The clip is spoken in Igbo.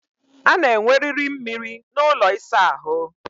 A na enweriri mmiri n'ụlọ ịsa ahụ